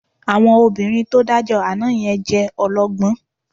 Àwọn obìnrin tó dájọ́ àná yẹn jẹ́ ọlọ́gbọ́n